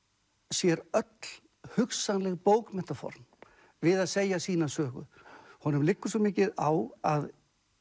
sér öll hugsanleg bókmenntaform við að segja sína sögu honum liggur svo mikið á að